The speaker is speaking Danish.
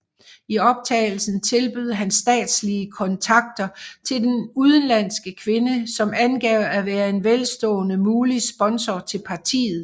I optagelsen tilbød han statslige kontakter til en udenlandsk kvinde som angav at være en velstående mulig sponsor til partiet